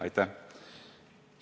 Aitäh!